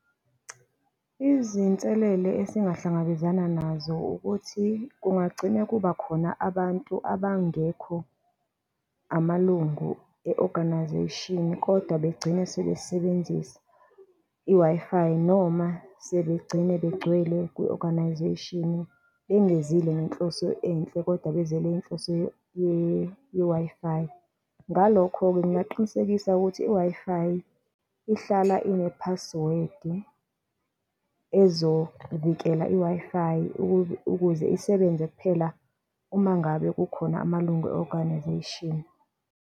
Izinselelo esingahlangabezana nazo ukuthi kungagcine kuba khona abantu abangekho, amalungu e-organisation kodwa begcine sebesebenzisa i-Wi-Fi noma sebegcina begcwele kwi-organisation bengezile ngenhloso enhle kodwa beze ngenhloso ye-Wi-Fi. Ngalokho-ke, ngingaqinisekisa ukuthi i-Wi-Fi ihlala ine-password ezovikela i-Wi-Fi ukuze isebenze kuphela uma ngabe kukhona amalungu e-organisation.